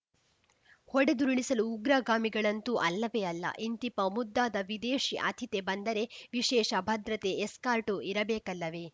ಹೊಡೆದುರುಳಿಸಲು ಉಗ್ರಗಾಮಿಗಳಂತೂ ಅಲ್ಲವೇ ಅಲ್ಲ ಇಂತಿಪ್ಪ ಮುದ್ದಾದ ವಿದೇಶಿ ಅತಿಥಿ ಬಂದರೆ ವಿಶೇಷ ಭದ್ರತೆ ಎಸ್ಕಾರ್ಟು ಇರಬೇಕಲ್ಲವೇ